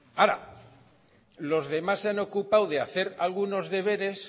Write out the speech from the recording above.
ahora los demás se han ocupado de hacer algunos deberes